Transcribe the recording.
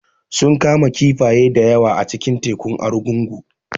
Sun kama kifaye da yawa a cikin tekun Argungu